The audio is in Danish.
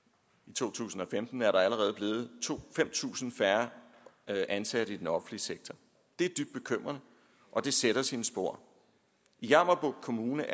to tusind og femten er der allerede blevet fem tusind færre ansatte i den offentlige sektor det er dybt bekymrende og det sætter sine spor i jammerbugt kommune